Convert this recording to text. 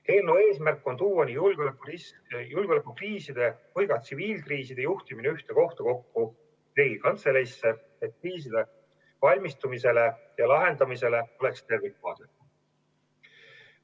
Eelnõu eesmärk on tuua julgeolekukriiside ja tsiviilkriiside juhtimine ühte kohta kokku, Riigikantseleisse, et kriisideks valmistumisele ja lahendamisele oleks tervikvaade.